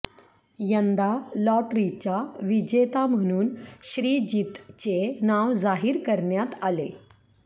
यंदा लॉटरीचा विजेता म्हणून श्रीजितचे नाव जाहीर करण्यात आले